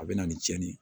A bɛ na ni cɛnni ye